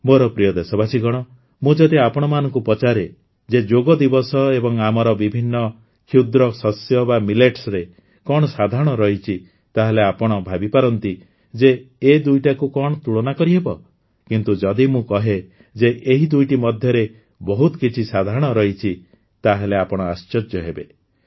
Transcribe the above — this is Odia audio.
ମୋର ପ୍ରିୟ ଦେଶବାସୀଗଣ ମୁଁ ଯଦି ଆପଣମାନଙ୍କୁ ପଚାରେ ଯେ ଯୋଗ ଦିବସ ଏବଂ ଆମର ବିଭିନ୍ନ କ୍ଷୁଦ୍ର ଶସ୍ୟ ବା ମିଲେଟ୍ସରେ କଣ ସାଧାରଣ ରହିଛି ତାହେଲେ ଆପଣ ଭାବିପାରନ୍ତି ଯେ ଏ ଦୁଇଟାକୁ କଣ ତୁଳନା କରିହେବ କିନ୍ତୁ ଯଦି ମୁଁ କହେ ଯେ ଏହି ଦୁଇଟି ମଧ୍ୟରେ ବହୁତ କିଛି ସାଧାରଣ ରହିଛି ତାହେଲେ ଆପଣ ଆଶ୍ଚର୍ଯ୍ୟ ହେବେ